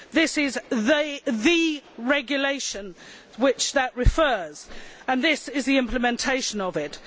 This is the regulation to which that refers, and this is the implementation of it.